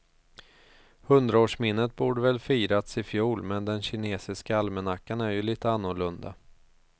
Hundraårsminnet borde väl firats i fjol, men den kinesiska almanackan är ju lite annorlunda.